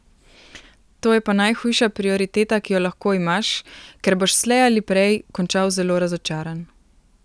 To je pa najhujša prioriteta, ki jo lahko imaš, ker boš slej ali prej končal zelo razočaran.